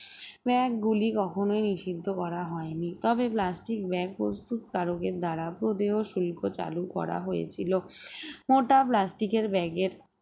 bag গুলি কখনোই নিষিদ্ধ করা হয়নি তবে plastic bag প্রস্তুতকারকের দ্বারা প্রদেয় শিল্প চালু করা হয়েছিল মোটা plastic এর bag এর